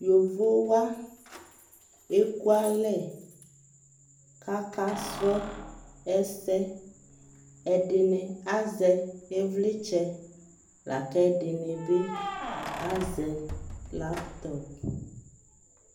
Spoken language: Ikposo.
Yovo wa ɛkualɛ kʋ akasʋlɔ ɛsɛ Ɛdini azɛ ivlitsɛ la kʋ ɛdini bi azɛ laptɔp